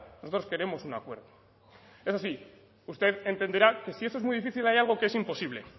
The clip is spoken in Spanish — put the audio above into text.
nosotros queremos un acuerdo eso sí usted entenderá que si eso es muy difícil hay algo que es imposible